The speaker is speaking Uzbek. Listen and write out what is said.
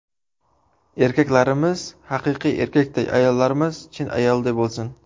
Erkaklarimiz haqiqiy erkakday, ayollarimiz chin ayolday bo‘lsin!.